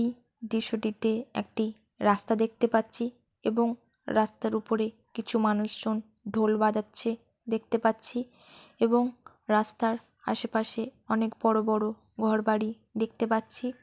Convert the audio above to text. এই দৃশ্যটিতে একটি রাস্তা দেখতে পাচ্ছি এবং রাস্তার উপরে কিছু মানুষজন ঢোল বাজাচ্ছে দেখতে পাচ্ছি এবং রাস্তার আশেপাশে অনেক বড় বড় ঘর বাড়ি দেখতে পাচ্ছি।